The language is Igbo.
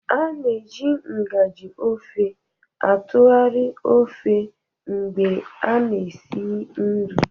A na-eji ngaji ofe atụgharị ofe mgbe a na-esi nri